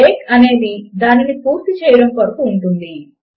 break అనేది దానిని పూర్తి చేయడము కొరకు ఉంటుంది